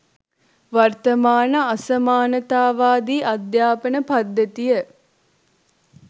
වර්තමාන අසමානතාවාදී අධ්‍යාපන පද්ධතිය